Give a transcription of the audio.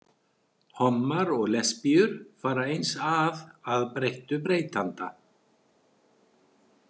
Hommar og lesbíur fara eins að, að breyttu breytanda.